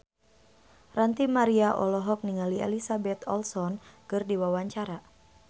Ranty Maria olohok ningali Elizabeth Olsen keur diwawancara